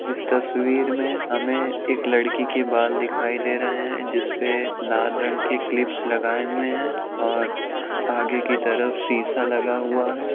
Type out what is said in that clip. इस तस्वीर मे हमे एक लड़की के बाल दिखाई दे रहे है जिसपे लाल रंग के क्लिप्स लगाए हुए है और आगे की तरफ सीसा लगा हुआ है।